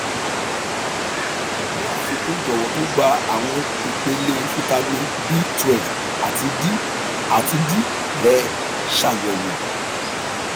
ni afikun jọwọ tun gba awọn ipele vitamin b12 ati d ati d rẹ ṣayẹwo